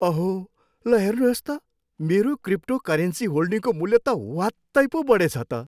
अहो! ल हेर्नुहोस् त! मेरो क्रिप्टोकरेन्सी होल्डिङको मूल्य त ह्वात्तै पो बढेछ त।